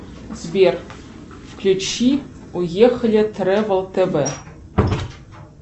сбер включи уехали тревел тв